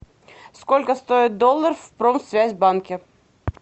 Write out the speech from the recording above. сколько стоит доллар в промсвязьбанке